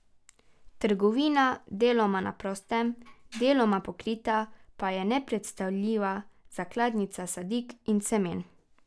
Trgovina, deloma na prostem, deloma pokrita, pa je nepredstavljiva zakladnica sadik in semen.